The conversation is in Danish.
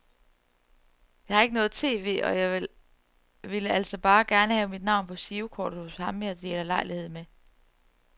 Jeg har ikke noget tv, og jeg ville altså bare gerne have mit navn på girokortet hos ham jeg deler lejlighed med.